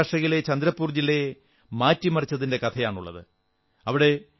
അതിൽ മഹാരാഷ്ട്രയിലെ ചന്ദ്രപ്പൂർ ജില്ലയെ മാറ്റിമറിച്ചതിന്റെ കഥയാണുള്ളത്